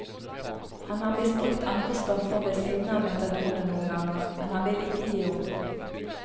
Han har misbrukt andre stoffer ved siden av metadonet noen ganger, men han vil ikke gi opp.